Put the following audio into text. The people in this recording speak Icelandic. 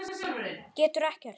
Getur ekkert.